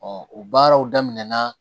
o baaraw daminɛna